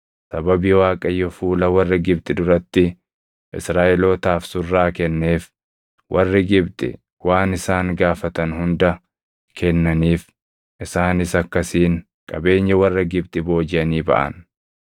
Sababii Waaqayyo fuula warra Gibxi duratti Israaʼelootaaf surraa kenneef, warri Gibxi waan isaan gaafatan hunda kennaniif; isaanis akkasiin qabeenya warra Gibxi boojiʼanii baʼan.